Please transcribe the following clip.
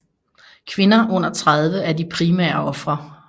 Kvinder under 30 er de primære ofre